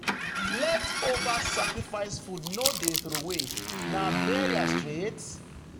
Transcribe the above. leftover sacrifice food no dey throway—na burial straight.